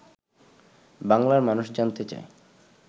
বাংলার মানুষ জানতে চায়